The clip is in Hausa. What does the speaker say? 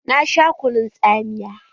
Na sha kunun tsamiya.